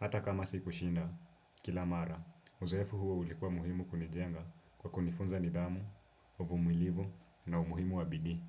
Hata kama siku shinda kila mara, uzoefu huo ulikuwa muhimu kunijenga kwa kunifunza nidhamu, uvumilivu na umuhimu wa bidii.